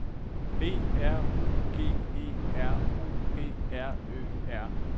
B R U G E R O P R Ø R